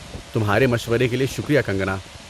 تمہارے مشورے کے لیے شکریہ کنگکنا۔